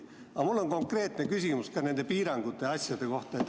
Aga mul on konkreetne küsimus ka nende piirangute ja asjade kohta.